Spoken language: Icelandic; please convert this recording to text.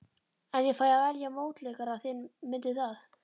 En ég fæ að velja mótleikara þinn, mundu það.